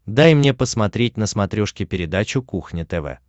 дай мне посмотреть на смотрешке передачу кухня тв